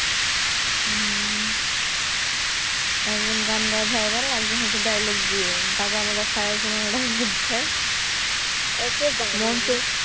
হম একজন গান গায় Viral একজন হচ্ছে dialogue দিয়ে গাঁজা মাজা খায় এসব Dialogue দেয়